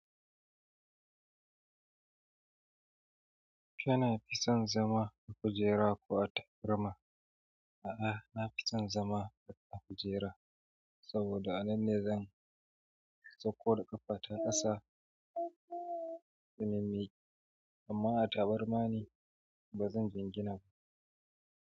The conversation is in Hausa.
Kina fi son zama a kujera ko a tabarma? A'a, nafi son zama a kujera saboda a nan ne zan sauko da ƙafa ta ƙasa da nimami amma a tabarma ne ba zan jingina ba.